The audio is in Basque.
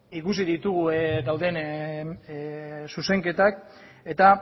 ikusi ditugu dauden zuzenketak eta